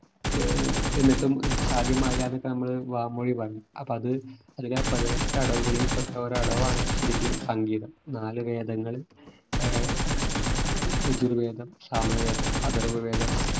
ഏർ എന്നിട്ടും സാധ്യമായില്ല ന്നൊക്കെ നമ്മൾ വാമൊഴി പറഞ്ഞു അപ്പൊ അത് അതിനെ പതിനെട്ട് അടവുകളിൽ പെട്ട ഒരു അടവാണ് ശരിക്ക് സംഗീതം നാലു വേദങ്ങള് യജുർവേദം സാമവേദം അഥർവ്വവേദം